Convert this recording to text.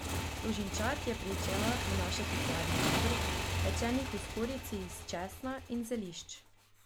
Služinčad je pričela prinašati pladnje rebrc, pečenih v skorjici iz česna in zelišč.